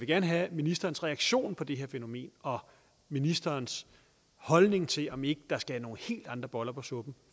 gerne have ministerens reaktion på det her fænomen og ministerens holdning til om ikke der skal nogle helt andre boller på suppen